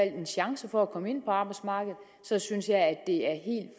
en chance for at komme ind på arbejdsmarkedet så synes jeg at det er